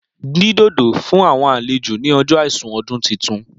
Dín dòdò fún àwọn àlejò ni ọjọ àìsùn ọdún titun.